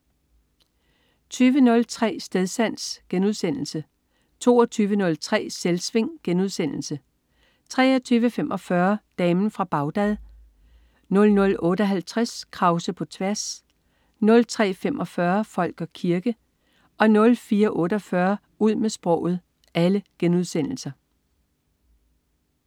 20.03 Stedsans* 22.03 Selvsving* 23.45 Damen fra Bagdad* 00.58 Krause på tværs* 03.45 Folk og kirke* 04.48 Ud med sproget*